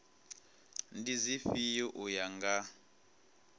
ndi dzifhio u ya nga